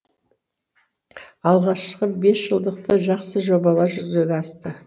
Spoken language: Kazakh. алғашқы бесжылдықты жақсы жобалар жүзеге асты